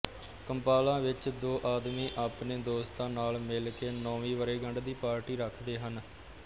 Kampala ਵਿੱਚ ਦੋ ਆਦਮੀ ਆਪਣੇ ਦੋਸਤਾਂ ਨਾਲ ਮਿਲ ਕੇ ਨੌਵੀਂ ਵਰੇਗੰਢ ਦੀ ਪਾਰਟੀ ਰੱਖਦੇ ਹਨ